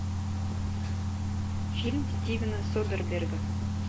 фильм стивена содерберга